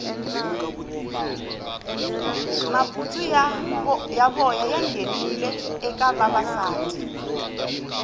mabutsu ya voya ya nghenile eka vavasati